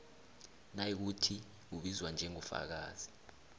nayikuthi ubizwa njengofakazi